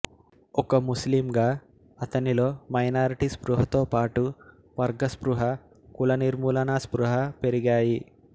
ఒక ముస్లిం గా అతనిలో మైనారిటీ స్పృహతో పాటు వర్గ స్పృహ కులనిర్మూలనా స్పృహ పెరిగాయి